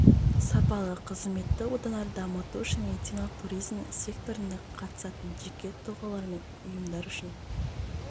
сапалы қызметті одан әрі дамыту үшін медициналық туризмнің секторында қатысатын жеке тұлғалар мен ұйымдар үшін